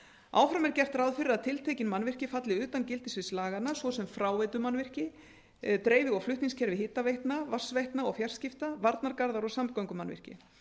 áfram er gert ráð fyrir að tiltekin mannvirki falli utan gildissviðs laganna svo sem fráveitumannvirki dreifi og flutningskerfi hitaveitna vatnsveitna og fjarskipta varnargarðar og samgöngumannvirki